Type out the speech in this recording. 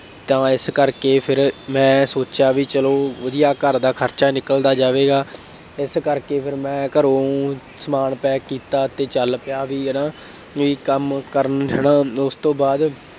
ਤਾਂ ਮੈਂ ਇਸ ਕਰਕੇ ਫੇਰ ਮੈਂ ਸੋਚਿਆ ਬਈ ਚੱਲੋ ਵਧੀਆ ਘਰ ਦਾ ਖਰਚਾ ਨਿਕਲਦਾ ਜਾਵੇਗਾ, ਇਸ ਕਰਕੇ ਫੇਰ ਮੈਂ ਘਰੋਂ ਊਂ ਸਮਾਜ pack ਕੀਤਾ ਅਤੇ ਚੱਲ ਪਿਆ, ਬਈ ਹੈ ਨਾ, ਬਈ ਕੰੰਮ ਕਰਨ ਨੂੰ ਹੈ ਨਾ ਇਸ ਤੋਂ ਬਾਅਦ